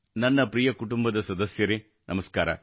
ನನ್ನ ಪ್ರಿಯ ಕುಟುಂಬದ ಸದಸ್ಯರೆ ನಮಸ್ಕಾರ